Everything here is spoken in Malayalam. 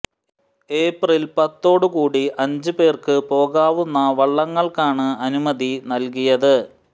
ഏപ്രില് പത്തോട് കൂടി അഞ്ച് പേര്ക്ക് പോകാവുന്ന വള്ളങ്ങള്ക്കാണ് അനുമതി നല്കിയത്